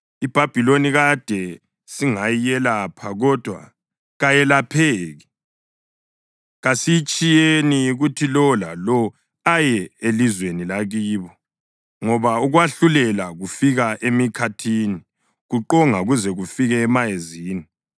‘IBhabhiloni kade singayelapha kodwa kayelapheki; kasiyitshiyeni kuthi lowo lalowo aye elizweni lakibo, ngoba ukwahlulela kufika emikhathini kuqonga kuze kufike emayezini.